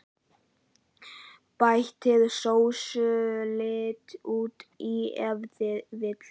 Bætið sósulit út í ef vill.